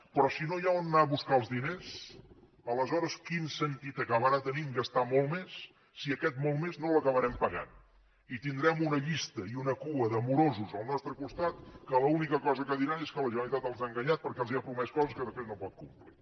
però si no hi ha on anar a buscar els diners aleshores quin sentit acabarà tenint gastar molt més si aquest molt més no l’acabarem pagant i tindrem una llista i una cua de morosos al nostre costat que l’única cosa que diran és que la generalitat els ha enganyat perquè els ha promès coses que després no pot complir